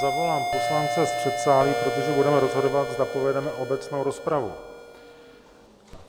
Zavolám poslance z předsálí, protože budeme rozhodovat, zda povedeme obecnou rozpravu.